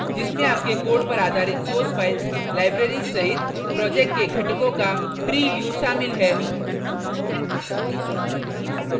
जिसमें आपके code पर आधारित source files libraries सहित project के घटकों का tree view शामिल है